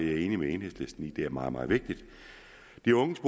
enig med enhedslisten i at det er meget meget vigtigt de unges